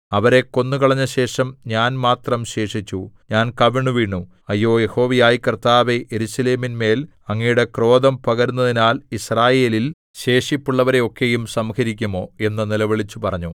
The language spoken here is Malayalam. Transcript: അവരെ കൊന്നുകളഞ്ഞശേഷം ഞാൻ മാത്രം ശേഷിച്ചു ഞാൻ കവിണ്ണുവീണു അയ്യോ യഹോവയായ കർത്താവേ യെരൂശലേമിന്മേൽ അങ്ങയുടെ ക്രോധം പകരുന്നതിനാൽ യിസ്രായേലിൽ ശേഷിപ്പുള്ളവരെ ഒക്കെയും സംഹരിക്കുമോ എന്നു നിലവിളിച്ചുപറഞ്ഞു